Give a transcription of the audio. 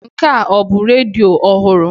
Nke a ọ bụ redio ọhụrụ?